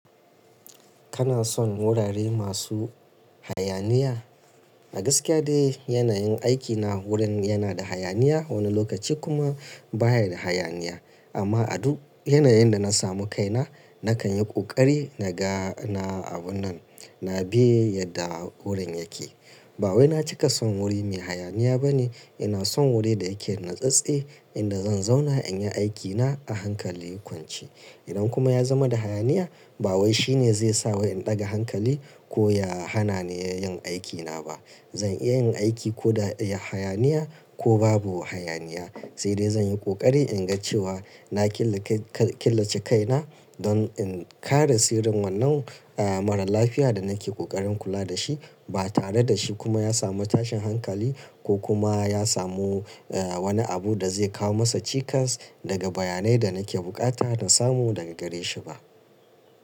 Kana son wurare masu hayaniya? A gaskiya dai yanayin aikina wurin yana da hayaniya wani lokaci kuma baya da hayaniya. Amma a duk yanayin da na samu kaina, nakan yi ƙoƙari na ga na abun nan, na bi yadda wurin yake. Ba wai na cika son wuri mai hayaniya ba ne. Ina son wuri da yake natsatstse, inda zan zauna in yi aikina a hankali kwance. Idan kuma ya zama da hayaniya, ba wai shine zai sa wai in ɗaga hankali ko ya hana ni yin aikina ba. Zan iya yin aiki ko da ya hayaniya ko babu hayaniya. Sai dai zan yi ƙoƙari in ga cewa na killace kaina don in kare sirrin wannan maralafiya da nake ƙoƙarin kula da shi ba tare da shi kuma ya samu tashin hankali ko kuma ya samu wani abu da zai kawo masa cikas daga bayanai da nake buƙata na samu daga gare shi ba.